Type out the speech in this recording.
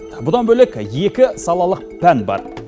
бұдан бөлек екі салалық пән бар